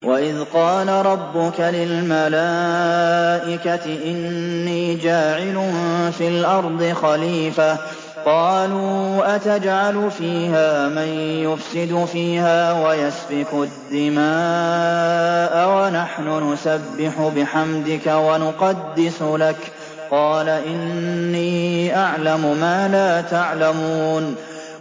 وَإِذْ قَالَ رَبُّكَ لِلْمَلَائِكَةِ إِنِّي جَاعِلٌ فِي الْأَرْضِ خَلِيفَةً ۖ قَالُوا أَتَجْعَلُ فِيهَا مَن يُفْسِدُ فِيهَا وَيَسْفِكُ الدِّمَاءَ وَنَحْنُ نُسَبِّحُ بِحَمْدِكَ وَنُقَدِّسُ لَكَ ۖ قَالَ إِنِّي أَعْلَمُ مَا لَا تَعْلَمُونَ